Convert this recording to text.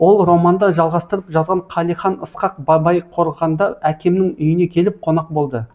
ол романды жалғастырып жазған қалихан ысқақ бабайқорғанда әкемнің үйіне келіп қонақ болды